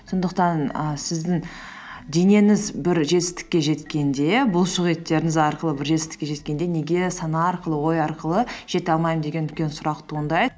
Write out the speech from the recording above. сондықтан і сіздің денеңіз бір жетістікке жеткенде бұлшықеттеріңіз арқылы бір жетістікке жеткенде неге сана арқылы ой арқылы жете алмаймын деген үлкен сұрақ туындайды